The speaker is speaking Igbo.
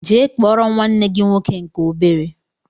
Jee kpọrọ m nwanne gị nwoke nke obere!!!